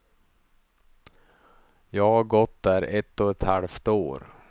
Jag har gått där ett och ett halvt år.